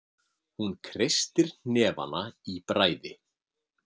Hún kreistir hnefana í bræði.